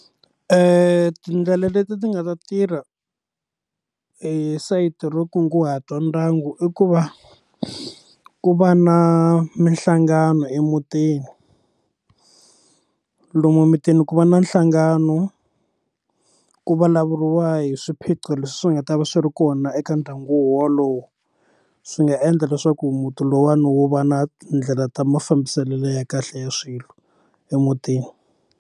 Tindlela leti ti nga ta tirha esayitini ro kunguhata ndyangu i ku va ku va na minhlangano emutini lomu emutini ku va na nhlangano ku vulavuriwa hi swiphiqo leswi nga ta va swi ri kona eka ndyangu wolowo swi nga endla leswaku muti lowuwani wo va na tindlela ta mafambiselelo ya kahle ya swilo emutini.